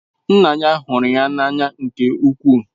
Nna ya hụrụ ya n'anya nke ukwuu.